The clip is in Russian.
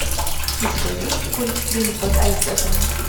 у тебя есть гольфстрим под айсбергом